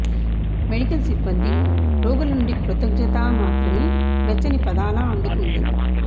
medical సిబ్బంది రోగుల నుండి కృతజ్ఞతా మాత్రమే వెచ్చని పదాల అందుకుంటుంది